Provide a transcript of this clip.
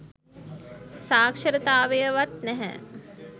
සාක්ෂරතාවයවත් නැහැ